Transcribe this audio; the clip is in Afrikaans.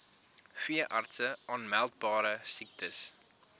veeartse aanmeldbare siektes